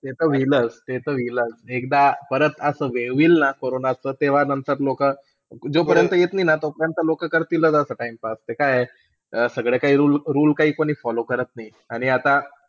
ते ता होईलच ते ता होईलच एकदा परत असंच होईलनं. कोरोनाच्या तेव्हा नंतर लोक. जो परंत येत नाही ना तो परंत लोक करतीलच असं TIMEPASS ते काय. सगळे काही rule काही follow करत नाही. आणि आता,